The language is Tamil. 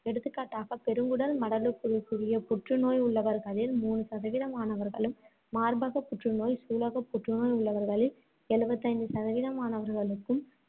எடுத்துக்காட்டாக பெருங்குடல் மடலுக்குரிய புற்று நோய் உள்ளவர்களில் மூணு சதவீதமானவர்களும், மார்பகப் புற்றுநோய், சூலகப் புற்றுநோய் உள்ளவர்களில் எழுபத்தைந்து சதவீதமானவர்களுக்கும்,